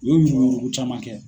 U ye yuruku yuruku caman kɛ.